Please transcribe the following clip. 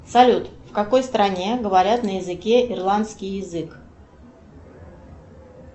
салют в какой стране говорят на языке ирландский язык